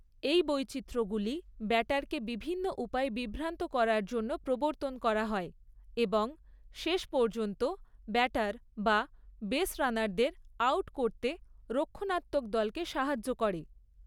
এই বৈচিত্রগুলি ব্যাটারকে বিভিন্ন উপায়ে বিভ্রান্ত করার জন্য প্রবর্তন করা হয় এবং শেষ পর্যন্ত ব্যাটার বা বেসরানারদের আউট করতে রক্ষণাত্মক দলকে সাহায্য করে।